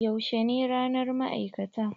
Yaushe ne ranar ma'aikata?